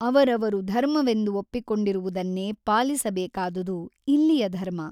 ಅವರವರು ಧರ್ಮವೆಂದು ಒಪ್ಪಿಕೊಂಡಿರು ವುದನ್ನೇ ಪಾಲಿಸಬೇಕಾದುದು ಇಲ್ಲಿಯ ಧರ್ಮ.